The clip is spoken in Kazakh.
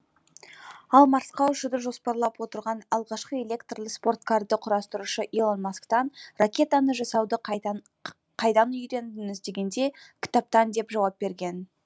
ал марсқа ұшуды жоспарлап отырған алғашқы электрлі спорткарды құрастырушы илон масктан ракетаны жасауды қайдан үйрендіңіз дегенде кітаптан деп жауап берген